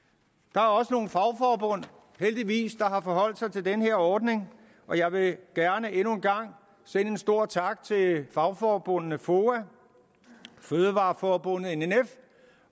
der er også nogle fagforbund heldigvis der har forholdt sig til den her ordning og jeg vil gerne endnu en gang sende en stor tak til fagforbundet foa fødevareforbundet nnf